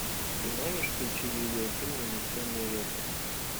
ты можешь включить видеофильм унесенные ветром